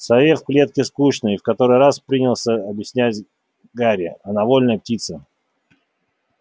сове в клетке скучно в который раз принялся объяснять гарри она вольная птица